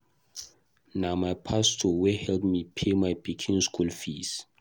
Na my pastor wey help me pay my pikin school fees